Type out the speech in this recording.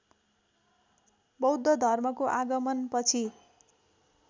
बौद्ध धर्मको आगमनपछि